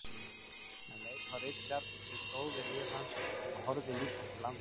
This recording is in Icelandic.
Hann leit á Richard sem stóð við hlið hans og horfði líka til lands.